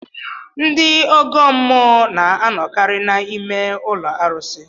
Ndị ọgọ mmụọ na anọkarị n'ime ụlọ arụsi